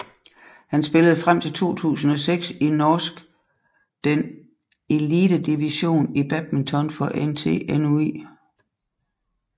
Han spillede frem til 2006 i norsk den elitedivision i badminton for NTNUI